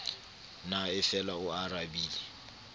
na e fela o arabile